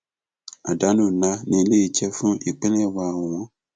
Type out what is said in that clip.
àdánù ńlá ni eléyìí jẹ fún ìpínlẹ wa ọwọn